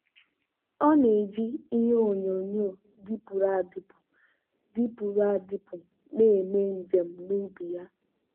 ọ na-eji ihe onyonyo dịpụrụ adịpụ dịpụrụ adịpụ na-eme njem n'ubi ya.